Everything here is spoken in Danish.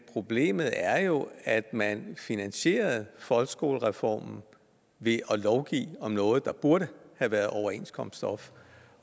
problemet er jo at man finansierede folkeskolereformen ved at lovgive om noget der burde have været overenskomststof